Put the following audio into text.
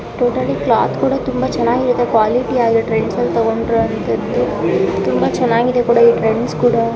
Totally cloth ಕೂಡ ತುಂಬಾ ಚೆನ್ನಾಗಿರುತ್ತೆ ಕ್ವಾಲಿಟಿ ಆಗಿದೆ ಟ್ರೆಂಡ್ಸ್ ಅಲ್ಲಿ ತೊಗೊಂಡ್ರೆ ಅಂತದ್ದು ತುಂಬಾ ಚೆನ್ನಾಗಿದೆ ಈ ಟ್ರೆಂಡ್ಸ್ ಕೂಡಾ.